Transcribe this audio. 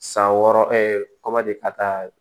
San wɔɔrɔ kɔmadi ka taa